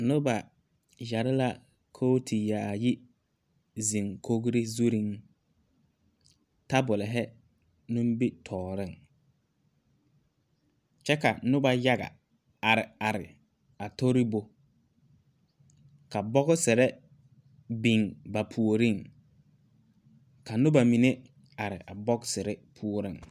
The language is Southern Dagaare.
Noba yɛre la kooti yaayi, a zeŋ kori zuriŋ tabolɔ nimitɔreŋ kyɛ ka Noba yaga are are a tori ba ka boɔsiri biŋ ba puoriŋ ka noba mine are a boɔsirii poɔreŋ.